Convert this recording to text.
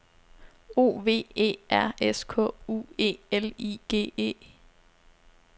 O V E R S K U E L I G E